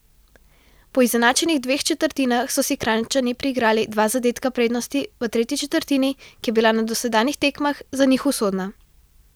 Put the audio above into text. Po izenačenih dveh četrtinah so si Kranjčani priigrali dva zadetka prednosti v tretji četrtini, ki je bila na dosedanjih tekmah za njih usodna.